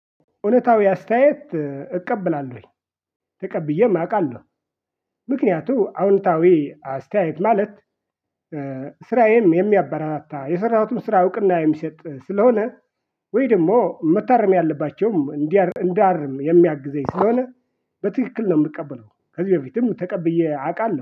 እውነታዊ አስተያየት እቀበላለሁኝ፤ ተቀብዬም አውቃለሁ ምክንያቱም አዎንታዊ አስተያየት ማለት ስራዬን የሚያበረታታ የሰራሁትን ስራ እውቅና የሚሰጥ ስለሆነ ወይ ደግሞ መታረም ያለባቸውም እንዳርም የሚያግዘኝ ስለሆነ በትክክል ነው የምቀበለው ከዚህ በፊትም ተቀብዬ አውቃለሁ።